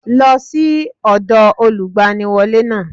Lọ́ sí ọ̀dọ̀ Olùgbaniwọ́lé náà